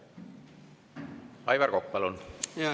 Aivar Kokk, palun!